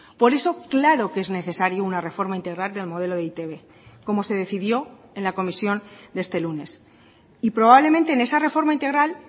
por eso claro que es necesario una reforma integral del modelo de e i te be como se decidió en la comisión de este lunes y probablemente en esa reforma integral